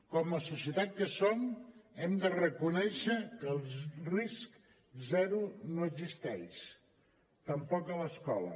com a societat que som hem de reconèixer que el risc zero no existeix tampoc a l’escola